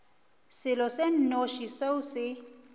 selo se nnoši seo se